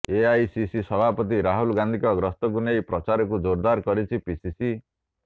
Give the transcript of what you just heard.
AICC ସଭାପତି ରାହୁଲ ଗାନ୍ଧୀଙ୍କ ଗସ୍ତକୁ ନେଇ ପ୍ରଚାରକୁ ଜୋରଦାର କରିଛି ପିସିସି